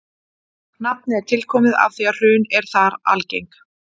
Nafnið er tilkomið af því að hrun eru þar algeng.